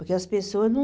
Porque as pessoas não...